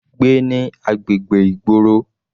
Gbé ní agbègbè ìgboro.